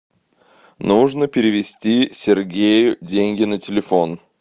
нужно перевести сергею деньги на телефон